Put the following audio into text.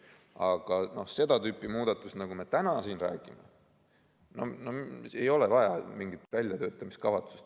Aga seda tüüpi muudatus, nagu me täna siin räägime – no ei ole vaja mingit väljatöötamiskavatsust.